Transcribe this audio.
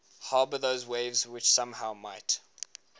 harbour those waves which somehow might